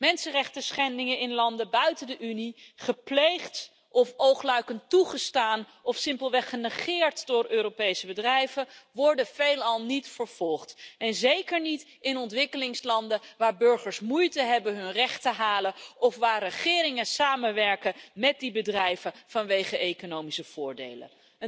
Mensenrechtenschendingen in landen buiten de Unie gepleegd of oogluikend toegestaan of simpelweg genegeerd door Europese bedrijven worden veelal niet vervolgd en zeker niet in ontwikkelingslanden, waar burgers moeite hebben hun recht te halen of waar regeringen samenwerken met die bedrijven vanwege economische voordelen.